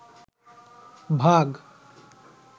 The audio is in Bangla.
ভাগ